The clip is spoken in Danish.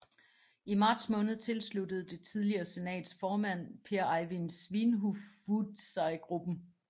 I marts måned tilsluttede det tidligere senats formand Pehr Evind Svinhufvud sig gruppen